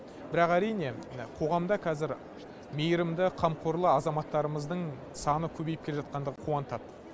бірақ әрине қоғамда қазір мейірімді қамқорлы азаматтарымыздың саны көбейіп келе жатқандығы қуантады